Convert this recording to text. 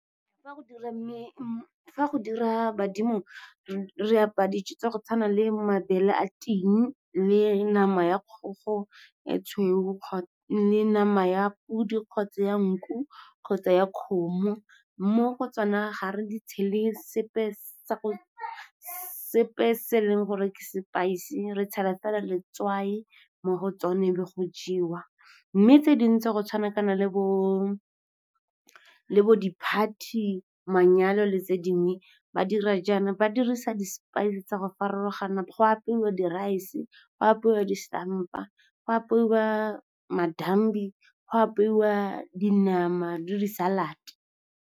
Fa go dira badimo, re apaya dijo tsa go tshwana le mabele a ting le nama ya kgogo e tshweu le nama ya podi kgotsa ya nku kgotsa ya kgomo. Mo go tsona ga re di tshele sepe se e leng gore ke spice. Re tshela fela letswai mo go tsone, bo go jewa. Mme tse dingwe, go tshwanakana le bo di-party, manyalo le tse dingwe, ba dira jaana, ba dirisa di-spice tsa go farologana. Go apeiwa di rice, go apeiwa di stampa, go apeiwa madambi, go apeiwa dinama le di salad.